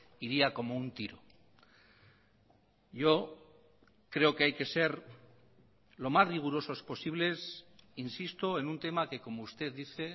iría como un tiro yo creo que hay que ser lo más rigurosos posibles insisto en un tema que como usted dice